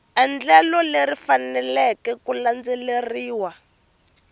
endlelo leri faneleke ku landzeleriwa